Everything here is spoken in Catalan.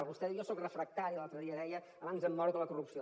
vostè diu jo soc refractari l’altre dia deia abans em moro que la corrupció